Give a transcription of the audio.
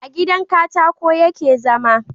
a gidan katako ya ke zama